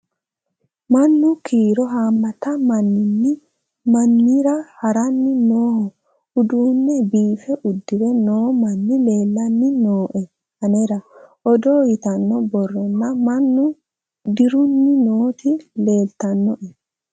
mannu kiiro hamate maminni mamira haranni noho uduunne biife udire noo manni lellanni nooe anera odo yitanno borronna mannu dirunni nooti leeltannoe